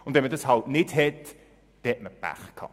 Aber wenn man das nicht hat, hat man Pech gehabt.